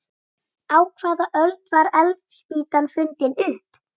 Á hvaða öld var eldspýtan fundin upp?